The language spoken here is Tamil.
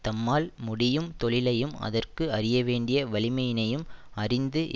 தம்மால் முடியும் தொழிலையும் அதற்கு அறிய வேண்டிய வலிமையினையும் அறிந்து